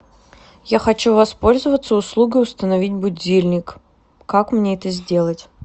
я хочу воспользоваться услугой установить будильник как мне это сделать